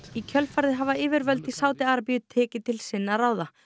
í kjölfarið hafa yfirvöld í Sádi Arabíu tekið til sinna ráða